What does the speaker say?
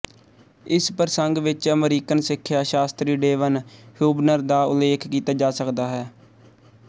ਇਸ ਪ੍ਰਸੰਗ ਵਿੱਚ ਅਮਰੀਕਨ ਸਿੱਖਿਆ ਸ਼ਾਸਤਰੀ ਡੇਵਨ ਹਿਊਬਨਰ ਦਾ ਉਲੇਖ ਕੀਤਾ ਜਾ ਸਕਦਾ ਹੈ